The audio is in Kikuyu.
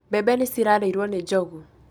mbebe nĩ cirarĩirwo nĩ njogu